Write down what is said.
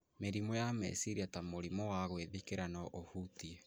Mĩrimũ ya meciria ta mũrimũ wa gwĩthikĩra no ũhutie